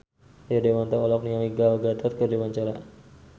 Rio Dewanto olohok ningali Gal Gadot keur diwawancara